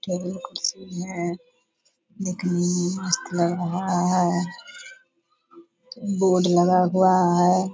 Table कुर्सी है दिखने में मस्त लग रहा है बोर्ड लगा हुआ है।